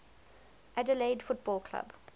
adelaide football club